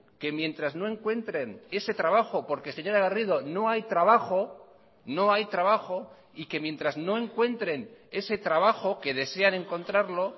que mientras no encuentren ese trabajo porque señora garrido no hay trabajo no hay trabajo y que mientras no encuentren ese trabajo que desean encontrarlo